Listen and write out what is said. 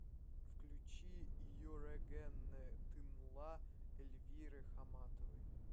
включи йорэгенне тынла эльвиры хамматовой